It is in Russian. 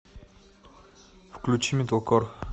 включи металкор